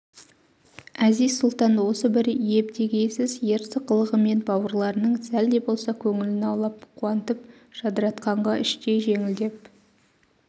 әзиз-сұлтан осы бір ебдегейсіз ерсі қылығымен бауырларының сәл де болса көңілін аулап қуантып-жадыратқанға іштей жеңілдеп